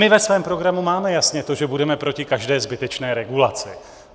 My ve svém programu máme jasně to, že budeme proti každé zbytečné regulaci.